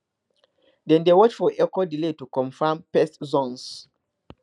dem dey watch for echo delay to confirm pest zones